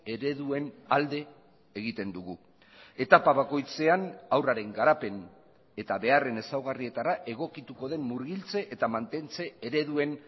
ereduen alde egiten dugu etapa bakoitzean haurraren garapen eta beharren ezaugarrietara egokituko den murgiltze eta mantentze ereduen